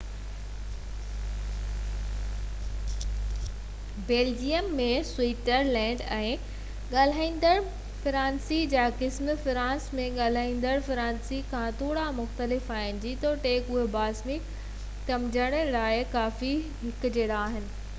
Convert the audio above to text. Belgium ۽ Switzerland ۾ ڳالهائيندڙ فرانسيسي جا قسم فرانس ۾ ڳالهائيندڙ فرانسيسي کان ٿورا مختلف آهن جيتوڻڪ اهي باهمي سمجهڻ لاءِ ڪافي هڪجهڙا آهن